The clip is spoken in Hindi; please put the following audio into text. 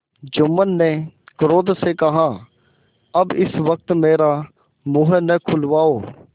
जुम्मन ने क्रोध से कहाअब इस वक्त मेरा मुँह न खुलवाओ